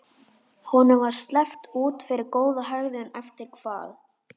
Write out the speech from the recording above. Honum var sleppt út fyrir góða hegðun eftir hvað?